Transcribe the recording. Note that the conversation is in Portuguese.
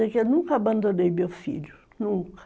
Eu nunca abandonei meu filho, nunca.